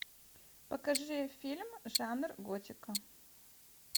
покажи фильм жанр готика